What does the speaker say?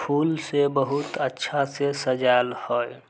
फूल से बहुत अच्छा से सजाएल हेय।